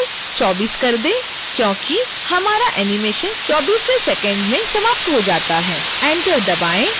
end time को बदल कर 24 कर दें क्योंकि हमारा animation 24वें सेकंड में समाप्त हो जाता है enter दबाएं